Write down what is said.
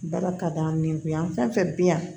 Bala ka da min kun yan fɛn fɛn bi yan